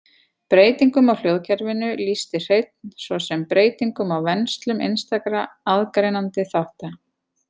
Breytingum á hljóðkerfinu lýsti Hreinn svo sem breytingum á venslum einstakra aðgreinandi þátta.